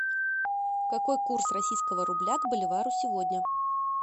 какой курс российского рубля к боливару сегодня